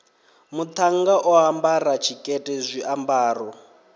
muṱhannga o ambara tshikete zwiambaro